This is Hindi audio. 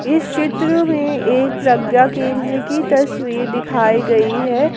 इस चित्र में एक प्रज्ञा केंद्र की तस्वीर दिखाई गई है।